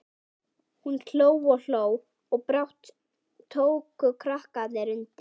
Hún hló og hló og brátt tóku krakkarnir undir.